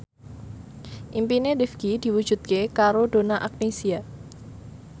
impine Rifqi diwujudke karo Donna Agnesia